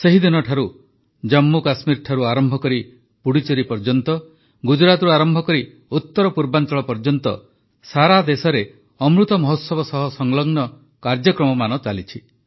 ସେହିଦିନଠାରୁ ଜମ୍ମୁକଶ୍ମୀରଠାରୁ ଆରମ୍ଭ କରି ପୁଡୁଚେରୀ ଯାଏ ଗୁଜରାଟରୁ ଆରମ୍ଭ କରି ଉତ୍ତରପୂର୍ବାଞ୍ଚଳ ଯାଏ ସାରା ଦେଶରେ ଅମୃତ ମହୋତ୍ସବ ସହ ସଂଲଗ୍ନ କାର୍ଯ୍ୟକ୍ରମମାନ ଚାଲିଛି